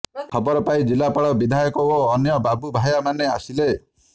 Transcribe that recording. ଖବର ପାଇ ଜିଲ୍ଲାପାଳ ବିଧାୟକ ଓ ଅନ୍ୟ ବାବୁଭାୟାମାନେ ଆସିଲେ